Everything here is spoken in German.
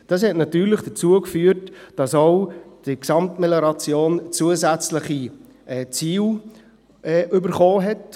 Dies führte natürlich dazu, dass die Gesamtmelioration zusätzliche Ziele erhielt.